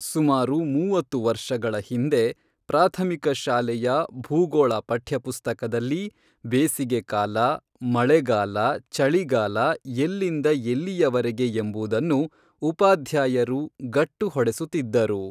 ಸುಮಾರು ಮೂವತ್ತು ವರ್ಷಗಳ ಹಿಂದೆ ಪ್ರಾಥಮಿಕ ಶಾಲೆಯ ಭೂಗೋಳ ಪಠ್ಯಪುಸ್ತಕದಲ್ಲಿ ಬೇಸಿಗೆಕಾಲ, ಮಳೆಗಾಲ, ಚಳಿಗಾಲ ಎಲ್ಲಿಂದ ಎಲ್ಲಿಯವರೆಗೆ ಎಂಬುದನ್ನು ಉಪಾಧ್ಯಾಯರು ಗಟ್ಟು ಹೊಡೆಸುತ್ತಿದ್ದರು.